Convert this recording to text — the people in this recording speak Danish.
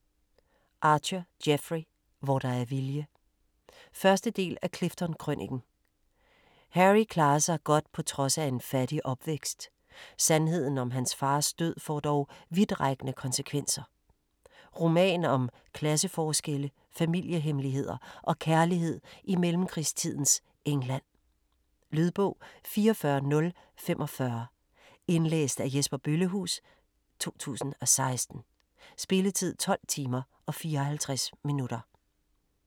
Archer, Jeffrey: Hvor der er vilje 1. del af Clifton-krøniken. Harry klarer sig godt på trods af en fattig opvækst. Sandheden om hans fars død, får dog vidtrækkende konsekvenser. Roman om klasseforskelle, familiehemmeligheder og kærlighed i mellemkrigstidens England. Lydbog 44045 Indlæst af Jesper Bøllehuus, 2016. Spilletid: 12 timer, 54 minutter.